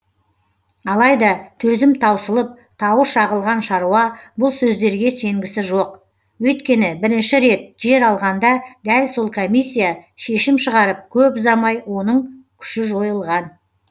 алайда төзім таусылып тауы шағылған шаруа бұл сөздерге сенгісі жоқ өйткені бірінші рет жер алғанда дәл сол комиссия шешім шығарып көп ұзамай оның күші жойылған